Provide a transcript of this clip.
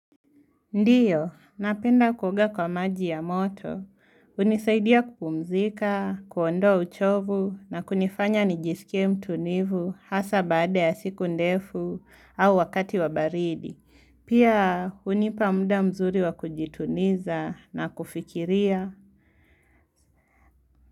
Ndiyo, napenda kuoga kwa maji ya moto. Hunisaidia kupumzika, kuondoa uchovu na kunifanya nijisikia mtu nivu hasa baada ya siku ndefu au wakati wabaridi. Pia hunipa muda mzuri wa kujituniza na kufikiria.